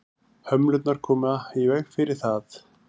hömlurnar koma í veg fyrir það